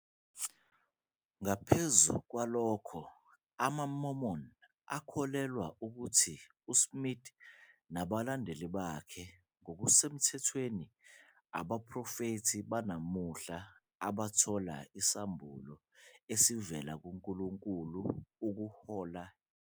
Ngaphezu kwalokho, amaMormon akholelwa ukuthi uSmith nabalandela bakhe ngokusemthethweni abaprofethi banamuhla abathola isambulo esivela kuNkulunkulu ukuhola ibandla.